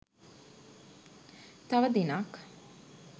තව දිනක්